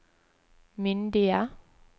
myndige